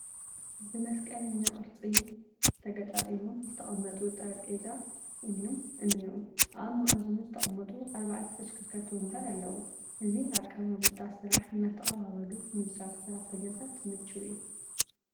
ብመስቀለኛ ቅርፂ ተገጣጢሞም ዝተቐመዩ ጠረጴዛ እኔዉ፡፡ ኣብ መኣዝኑ ዝተቐመጡ ኣርባዕተ ተሽከርከርቲ ወንበር ኣለዉ፡፡ እዚ ኣቀማምጣ ስራሕ እናተቐባበሉ ንዝሰርሑ ሰራሕተኛታት ምችው እዩ፡፡